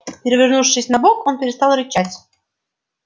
перевернувшись на бок он перестал рычать